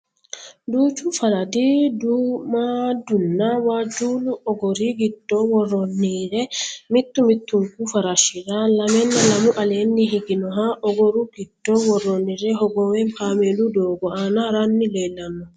Duuchu faradi duummaaddunna waajjuullu ogori giddo worroonnire mittu mittunku farashahira lamenna lamu aleenni higinoha ogoru giddo worroonnire hogowe kameelu doogo aana haranni leellanno